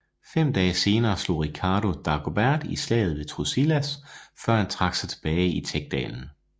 Fem dage senere slog Ricardo Dagobert i Slaget ved Truillas før han trak sig tilbage i Tech dalen